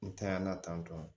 N tanyana tantɔ